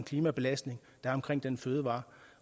klimabelastning den fødevare